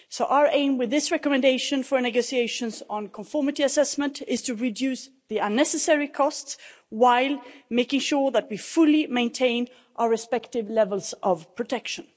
So our aim with this recommendation for negotiations on conformity assessment is to reduce the unnecessary costs while making sure that we fully maintain our respective levels of protection.